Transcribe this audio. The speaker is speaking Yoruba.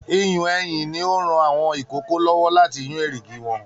Iyùn eyìn ní o n rán àwọn ikòkò lọwọ láti yun erigi wọn.